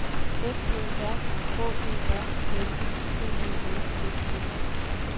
F O R H E R L I G E L S E